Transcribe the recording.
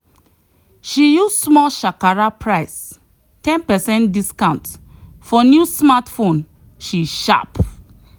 she use small shakara price ten percent discount for new smartphone she sharp!